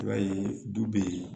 I b'a ye du bɛ yen